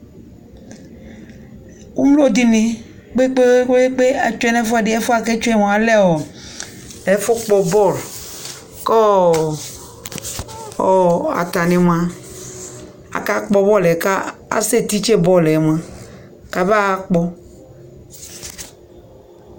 alo ɛdi ni kpekpekpe atsue no ɛfuɛdi ɛfuɛ ko atsue lɛ ɛfu kpɔ bɔl ko atani moa aka kpɔ bɔl yɛ ko asɛ titse bɔl yɛ moa ko aba ɣa kpɔ